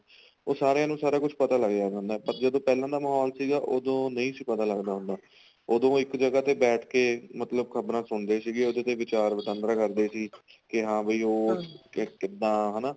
ਉਹ ਸਾਰੀਆਂ ਨੂੰ ਸਾਰਾ ਕੁੱਝ ਪਤਾ ਲੱਗ ਜਾਂਦਾ ਹੁੰਦਾ ਪਰ ਜਦੋਂ ਪਹਿਲਾਂ ਦਾ ਮਾਹੋਲ ਸੀਗਾ ਉਦੋਂ ਨਹੀਂ ਸੀ ਪਤਾ ਲੱਗਦਾ ਹੁੰਦਾ ਉਦੋਂ ਇੱਕ ਜਗ੍ਹਾ ਤੇ ਬੈਠ ਕੇ ਮਤਲਬ ਖ਼ਬਰਾ ਸੁਣਦੇ ਸੀਗੇ ਉਹਦੇ ਤੇ ਵਿਚਾਰ ਵਿਟਾਂਦਰਾ ਕਰਦੇ ਸੀ ਕੇ ਹਾਂ ਬਾਈ ਉਹ ਕੇ ਕਿੱਦਾਂ ਹਨਾ